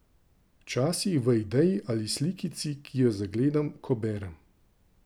Včasih v ideji ali slikici, ki jo zagledam, ko berem.